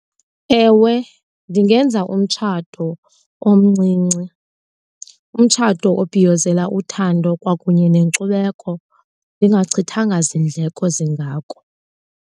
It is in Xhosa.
Ewe, ndingenza umtshato omncinci. Umtshato obhiyozela uthando kwakunye nenkcubeko ndingachithanga zindleko zingako.